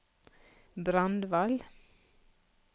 Brandval